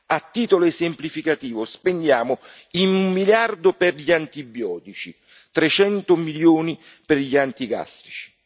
A titolo esemplificativo, spendiamo 1 miliardo per gli antibiotici, 300 milioni per gli antigastrici.